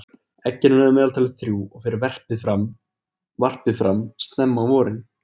Eggin eru að meðaltali þrjú og fer varpið fram snemma á vorin.